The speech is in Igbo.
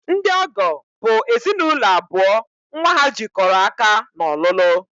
Ndị ọgọ bụ ezinụlọ abụọ nnwa ha jikọrọ aka n'ọlụlụ